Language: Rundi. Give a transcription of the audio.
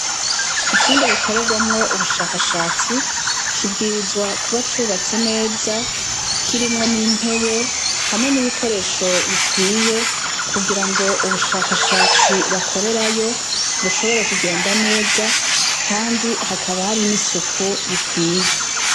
Icumba gikorerwamwo ubushakashatsi, kibwirizwa kuba cubatse neza, kirimwo n'intebe hamwe nibikoresho bikwiye, kugirango ubushakashatsi bakorerayo bushobore kugenda neza kandi hakaba hari n'isuku rikwiye.